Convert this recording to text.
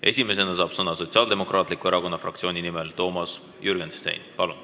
Esimesena saab sõna Sotsiaaldemokraatliku Erakonna fraktsiooni nimel Toomas Jürgenstein.